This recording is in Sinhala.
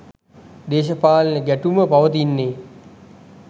දේශපාලන ගැටුම පවතින්නේ.